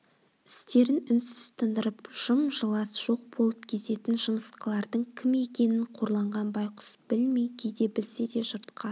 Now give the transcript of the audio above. істерін үнсіз тындырып жым-жылас жоқ болып кететін жымысқылардың кім екенін қорланған байқұс білмей кейде білсе де жұртқа